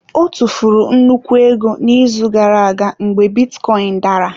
Ọ tụfuru nnukwu ego n'izu gara aga mgbe bitcoin dara.